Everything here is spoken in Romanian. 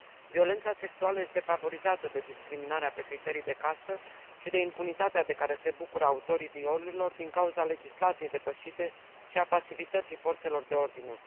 Violența sexuală este favorizată de discriminarea pe criterii de castă și de impunitatea de care se bucură autorii violurilor, din cauza legislației depășite și a pasivității forțelor de ordine.